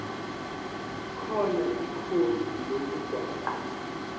khona ikhodi lomgwaqo